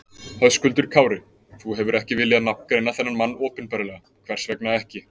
Höskuldur Kári: Þú hefur ekki viljað nafngreina þennan mann opinberlega, hvers vegna ekki?